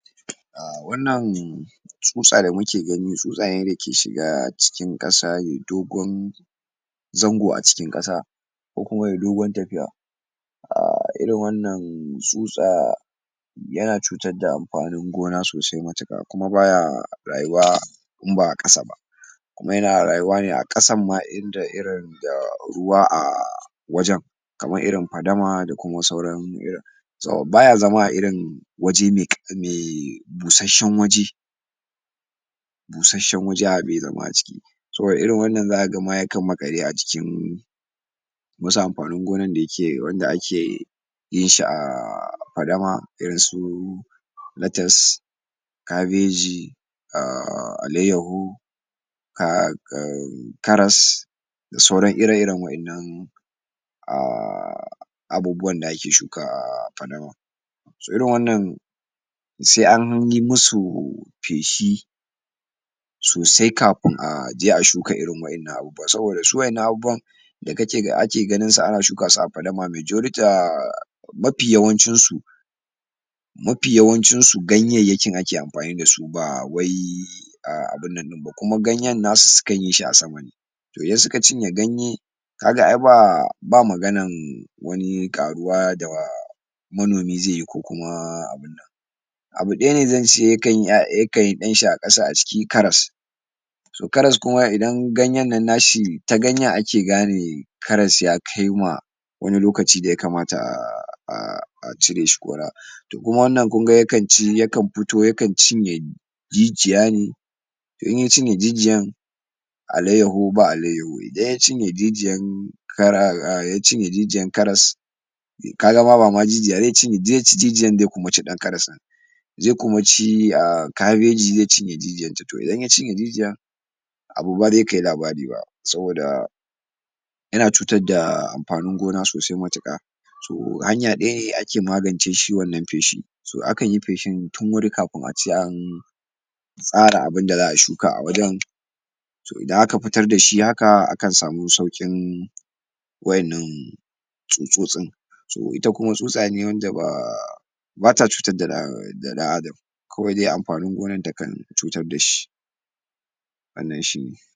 A wannan tsutsa da muke gani tsutsa ne da yake shiga cikin ƙasa yayi dogon zango a cikin ƙasa ko kuma yayi dogon tafiya a irin wannan tsutsa yana cutar da amfanin gona sosai matuƙa kuma baya rayuwa in ba a ƙasa ba kuma yana rayuwa ne a ƙasan ma inda irin da ruwa a wajen kamar irin fadama kuma sauran irin to baya zama a irin waje me um busasshen waje busasshen waje a be zama a ciki saboda irin wannan zaka ma ya kan maƙale a cikin wasu amfanin gonan da yake wanda ake yin shi a fadama irinsu latas kabeji aaaaa alayyahu um karas da sauran ire-iren waƴannan um abubuwan da ake shuka um a fadama so irin wannan se an yi musu feshi sosai kafin a je a shuka irin waƴannan abubuwan saboda su waƴannan abubuwan da kake ga ake ganinsu ana shuka su a fadama majorty um mafi yawancinsu mafi yawancinsu gayayyakin ake amfani da su ba wai abin nan ɗin ba kuma ganyen nasu su kan yi shi a sama ne to idan suka cinye ganye ka ga ai ba um ba maganan wani ƙaruwa da um manomi ze yi ko kuma abu ɗaya ne zan ce ya kan yi ɗanshi a ƙasa a ciki karas so karas kuma idan ganyen nan na shi ta ganyen ake gane karas ya kai ma wani lokaci da ya kamata um a cire shi kora to kuma wannan kun ci ya kan fito ya kan cinye jijiya ne to in ya cinye jijiyan alayyaho ba alayyaho idan ya cinye jijiyan um ya cinye jijiyan karas ka ga ba ma jijiya ze ci jijiya ze ci kuma ɗan karas ya ze kuma um kabeji ya cinye jijinta to idan ya cinye jijiya abu ba ze kai labari ba saboda yana cutar da um amfanin gona sosai matuka so hanya daya ne ake magance shi shi wannan feshi so akan yi feshin tun wuri kafin ace an tsara abin da za a shuka a wajen so idan aka fitar da shi haka akan samu sauƙin waƴannan tsutsotsin so ita kuma tsutsa ne wanda ba um ba ta cutar um da ɗan Adam kawai dai amfanin gonan ta kan cutar da shi